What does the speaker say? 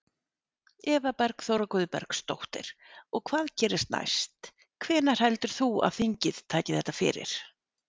Eva Bergþóra Guðbergsdóttir: Og hvað gerist næst, hvenær heldur þú að þingið taki þetta fyrir?